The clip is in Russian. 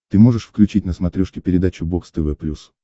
ты можешь включить на смотрешке передачу бокс тв плюс